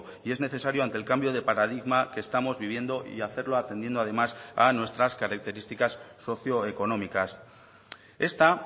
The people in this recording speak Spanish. y es necesario ante el cambio de paradigma que estamos viviendo y hacerlo atendiendo además a nuestras características socioeconómicas esta